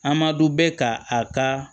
An ma dɔn bɛ ka a ka